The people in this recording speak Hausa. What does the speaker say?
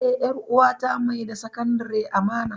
E, 'yar uwata mai da Sakandare amana.